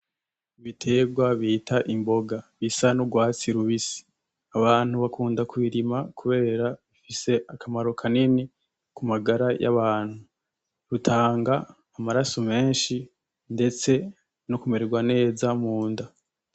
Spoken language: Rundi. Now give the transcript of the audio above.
Ibiterwa bita imboga bisa n'urwatsi rubisi, abantu bakunda kubirima kubera bifise akamaro kanini ku magara y'abantu, bitanga amaraso menshi ndetse no kumererwa neza munda.